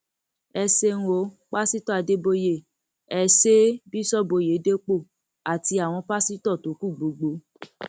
ẹ ṣeun o pásítọ àdèbòye ẹ ṣe é bíṣọọbù ọyédépò àti àwọn pásítọ tó kù gbogbo